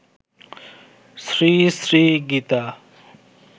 Shri Shri Gita